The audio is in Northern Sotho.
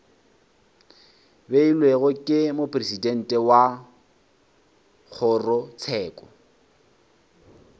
beilwego ke mopresidente wa kgorotsheko